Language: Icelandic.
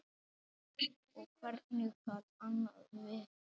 Og hvernig gat annað verið?